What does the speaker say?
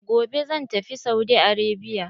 Gobe zan tafi Saudi Arabia.